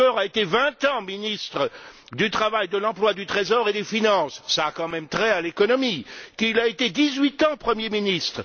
Juncker a été vingt ans ministre du travail, de l'emploi, du trésor et des finances, cela a quand même trait à l'économie, et qu'il a été dix huit ans premier ministre.